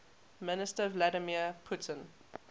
minister vladimir putin